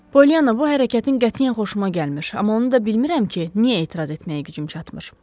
Polyanna, bu hərəkətin qətiyyən xoşuma gəlmədi, amma onu da bilmirəm ki, niyə etiraz etməyə gücüm çatmır.